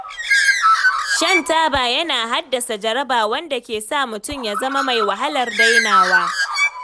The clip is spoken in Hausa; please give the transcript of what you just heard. Shan taba yana haddasa jaraba, wanda ke sa mutum ya zama mai wahalar dainawa.